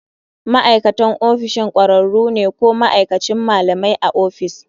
Ma'aikatan ofishin ƙwararru ne ko ma'aikacin malamai a ofis.